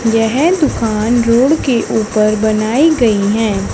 यह दुकान रोड के ऊपर बनाई गईं है।